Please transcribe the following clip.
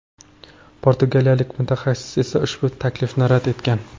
Portugaliyalik mutaxassis esa ushbu taklifni rad etgan .